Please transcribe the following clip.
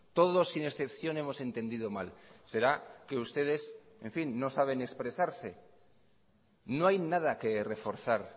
todos sin excepción hemos entendido mal será que ustedes en fin no saben expresarse no hay nada que reforzar